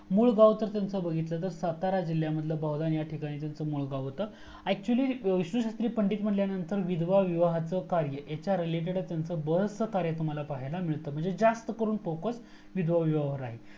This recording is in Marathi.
मूळ गाव जर त्यांचा बघितला तर सातारा जिलयातील बुलगाव त्यांचा मूळ गाव होतं actually विष्णु शास्त्री पंडित म्हणजे विधवा विवाहाचा कार्य हयच्या reletedach त्यांचा बरेचसा कार्य तुम्हाला पाहायाला मिळतं म्हणजे जास्त करून फोकस विधवा विवाहवर आहे